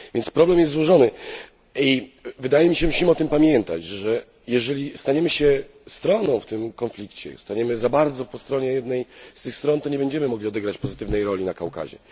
Problem jest złożony i wydaje mi się, że musimy pamiętać o tym, że jeżeli staniemy się stroną w tym konflikcie, staniemy za bardzo po jednej z tych stron, to nie będziemy mogli odegrać pozytywnej roli na Kaukazie.